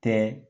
Kɛ